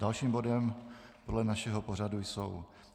Dalším bodem podle našeho pořadu jsou